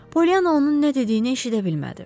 Pollyanna onun nə dediyini eşidə bilmədi.